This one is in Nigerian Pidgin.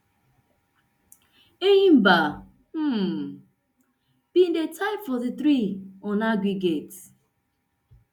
enyimba um bin di tie forty-three on aggregate